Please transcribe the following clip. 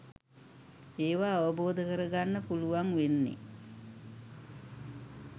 ඒවා අවබෝධ කර ගන්න පුළුවන් වෙන්නෙ